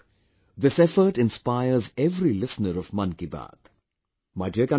I hope this effort inspires every listener of 'Mann Ki Baat'